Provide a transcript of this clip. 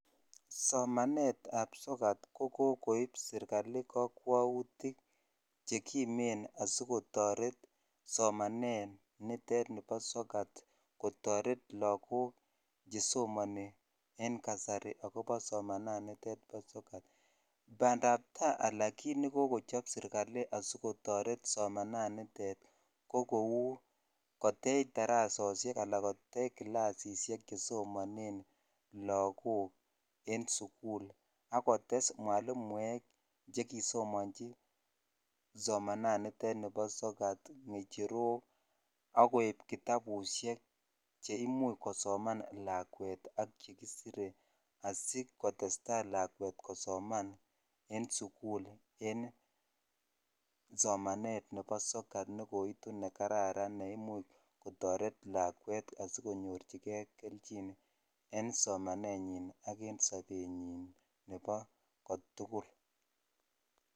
Somanet ap soket ko koip sirkali kakwautik che kimen asikotaret somanet nitet nipo soket asikotaret lagook che somani en kasari akopa somanitet pa soket. Pandaptai ala kiit ne kikochop sirkali asikotaret somananitet ko kou kotech darasoshek anan kotech klasishek che somaneen lahook eng' sukul ako tes mwalimuek che kisomanchi somananitet nepo soket, ng'echerok akoip kitapushek che imuch kosoman lakwet ak che kisire asi kotes tai lakwet kosoman eng' sukul eng' somenet nepo soket ne koitu ne kararan ne imuch kotaret lakwet asikonyorchigei kelchin en somanennyi ak eng' sapennyi nepo ko tugul.